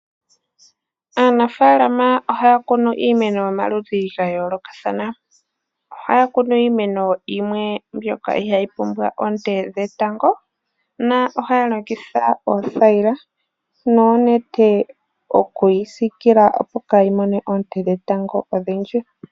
Aanafalama ohaya kunu iimeno yomaludhi ga yoolokathana. Ohaya kunu iimeno yimwe mbyoka ihaayi pumbwa oonte dhetango na ohaya longitha oothayila noonete okuyi sikila opo kaa yi mone oonte dhetango odhindji.